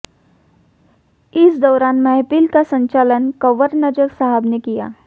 इस दौरान महफिल का संचालन कंवर नज़र साहब ने किया